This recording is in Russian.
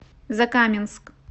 закаменск